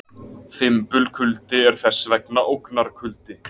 Fimbulkuldi er þess vegna ógnarkuldi.